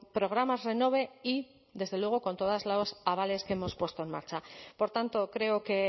programas renove y desde luego con todos los avales que hemos puesto en marcha por tanto creo que